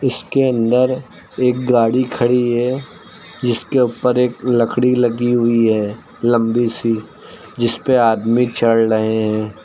इसके अंदर एक गाड़ी खड़ी है जिसके ऊपर एक लकड़ी लगी हुई है लंबी सी जिसपे आदमी चढ़ रहे हैं।